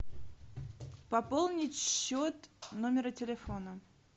пополнить счет номера телефона